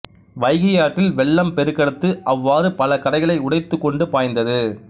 வைகை ஆற்றில் வெள்ளம் பெருக்கெடுத்து அவ்வாறு பல கரைகளை உடைத்துக் கொண்டு பாய்ந்தது